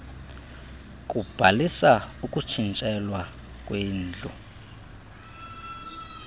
kubhalisa ukutshintshelwa kwendlu